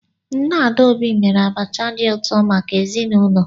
Nne Adaobi mere abacha dị ụtọ maka ezinụlọ.